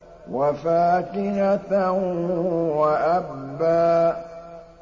وَفَاكِهَةً وَأَبًّا